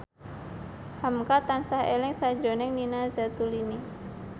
hamka tansah eling sakjroning Nina Zatulini